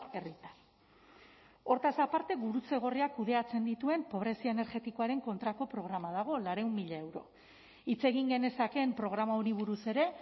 herritar hortaz aparte gurutze gorriak kudeatzen dituen pobrezia energetikoaren kontrako programa dago laurehun mila euro hitz egin genezakeen programa honi buruz ere